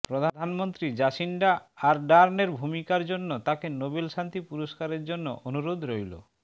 প্রধানমন্ত্রী জাসিন্ডা আরডার্নের ভূমিকার জন্য তাকে নোবেল শান্তি পুরস্কারের জন্য অনুরোধ রইলো